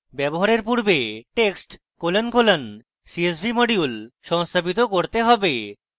ব্যবহারের পূর্বে text colon colon csv module সংস্থাপিত করতে have